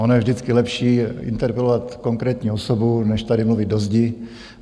Ono je vždycky lepší interpelovat konkrétní osobu než tady mluvit do zdi.